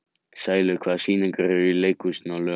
Sælaug, hvaða sýningar eru í leikhúsinu á laugardaginn?